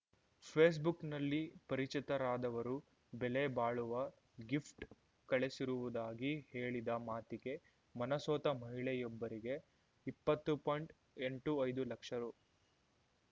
ಫೇಸ್‌ಬುಕ್‌ನಲ್ಲಿ ಪರಿಚಿತರಾದವರು ಬೆಲೆ ಬಾಳುವ ಗಿಫ್ಟ್‌ ಕಳಿಸಿರುವುದಾಗಿ ಹೇಳಿದ ಮಾತಿಗೆ ಮನಸೋತ ಮಹಿಳೆಯೊಬ್ಬರಿಗೆ ಇಪ್ಪತ್ತು ಪಾಯಿಂಟ್ಎಂಟು ಐದು ಲಕ್ಷ ರು